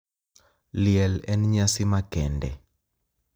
Liel en nyasi makende.